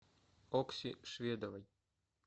окси шведовой